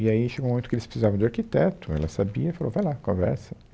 E aí chegou um momento que eles precisavam de arquiteto, ela sabia, falou, vai lá, conversa.